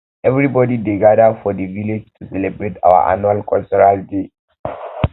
everybody dey gada for di village to celebrate our annual cultural day